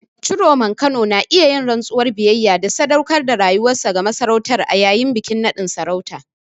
Ciroman Kano na iya yin rantsuwar biyayya da sadaukar da rayuwar masarautar a yayin bikin naɗin sarauta.